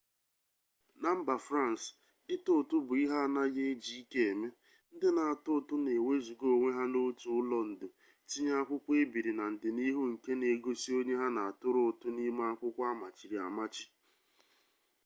na mba frans ịtụ ụtụ bụ ihe anaghị eji ike eme ndị na-atụ ụtụ na ewezuga onwe ha n'otu ụlọ ndo tinye akwụkwọ ebiri na ndịnihu nke na-egosi onye ha na atụrụ ụtụ n'ime akwụkwọ amachiri amachi